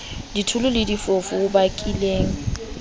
ditholo le difofu ho bakileng